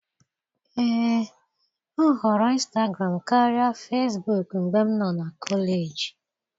Ee, m họọrọ ịnstagram karịa Fesbuk mgbe m nọ na kọleji.